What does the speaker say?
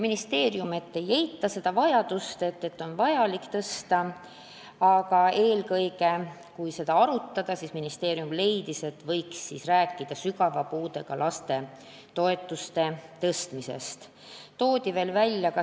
Ministeerium ei eita toetuse tõstmise vajadust, aga leiab, et kui seda arutada, siis võiks rääkida eelkõige sügava puudega laste toetuste tõstmisest.